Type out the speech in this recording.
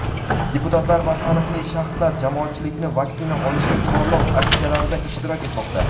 deputatlar va taniqli shaxslar jamoatchilikni vaksina olishga chorlov aksiyalarida ishtirok etmoqda.